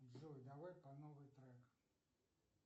джой давай по новой трек